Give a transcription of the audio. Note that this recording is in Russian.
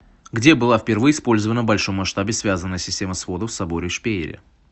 где была впервые использована в большом масштабе связанная система сводов в соборе в шпейере